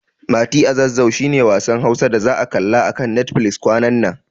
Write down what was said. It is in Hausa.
Mati a Zazzau shi ne wasan Hausa da za'a kalla a kan Netfilis kwanan nan.